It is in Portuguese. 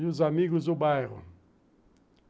e os amigos do bairro.